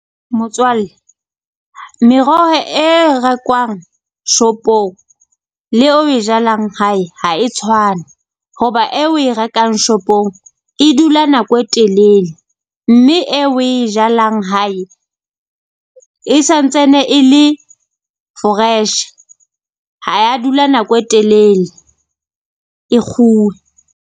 Motswalle meroho e rekwang shop-ong le eo oe jalang hae ha e tshwane. Hoba e oe rekang shopong e dula nako e telele, mme e oe jalang hae e santsane e le fresh, ha ya dula nako e telele e .